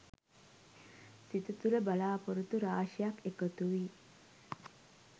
සිත තුළ බලාපොරොත්තු රාශියක් එකතු වී